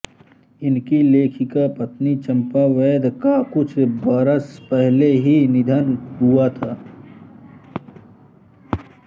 उनकी लेखिका पत्नी चंपा वैद का कुछ बरस पहले ही निधन हुआ था